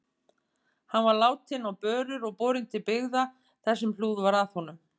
Hann var látinn á börur og borinn til byggða þar sem hlúð var að honum.